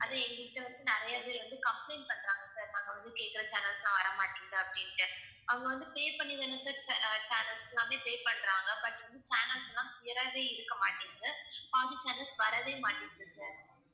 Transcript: அது எங்ககிட்ட வந்து நிறைய பேர் வந்து complaint பண்றாங்க sir நாங்க வந்து கேக்குற channels லாம் வரமாட்டிங்குது அப்படின்னுட்டு அவங்க வந்து pay பண்ணி தான sir cha~ channels க்குலாமே pay பண்றாங்க but வந்து channels லாம் clear ஆவே இருக்க மாட்டிங்குது பாதி channels வரவே மாட்டிங்குது sir